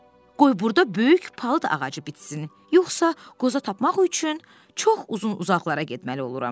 Qoy burda böyük palıd ağacı bitsin, yoxsa qoza tapmaq üçün çox uzun-uzaqlara getməli oluram.